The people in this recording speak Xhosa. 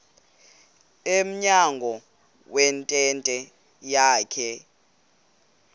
emnyango wentente yakhe